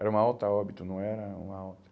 Era uma alta óbito, não era uma alta.